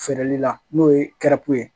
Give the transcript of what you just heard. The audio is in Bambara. Feereli la n'o ye ye